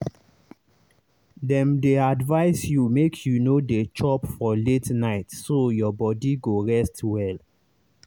dem dey advise you make you no dey chop for late night so your body go rest well.